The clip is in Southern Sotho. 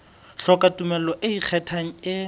hloka tumello e ikgethang e